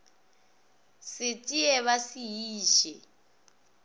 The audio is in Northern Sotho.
se tsee ba se iše